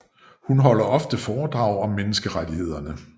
Hun holder ofte foredrag om menneskerettigheder